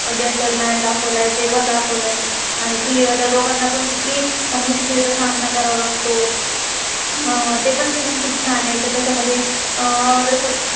Gentleman gentleman दाखवलाय. ते पण दाखवलय, अह आणि त्या दोघाना पण किती मुश्किली चा सामना करावा लागतो, ते पण सीजन season खुप छान हे. तेच्याम्धे अह जसं